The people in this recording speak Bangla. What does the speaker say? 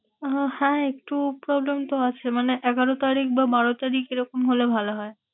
আহ হ্যাঁ একটু problem তো আছে। মানে এগারো তারিখ বা বারো তারিখ এরকম হলে ভালো হয়।